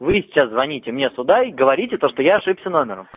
вы сейчас звоните мне сюда и говорите то что я ошибся номером